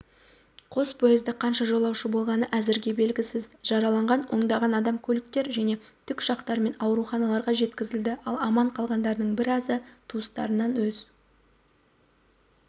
қос поезда қанша жолаушы болғаны әзірге белгісіз жараланған ондаған адам көліктер және тікұшақтармен ауруханаларға жеткізілді ал аман қалғандарының біразы туыстарынан көз